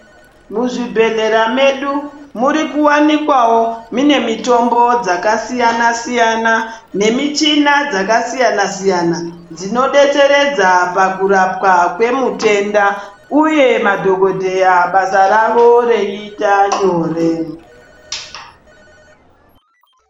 Muzvibhedhleya medu murikuwanikwawo mune mitombo dzakasiyana -siyana nemichina dzakasiyana -siyana dzinodetsera kurapwa nemitenda uye madhokodheya basa ravo reiita nyore.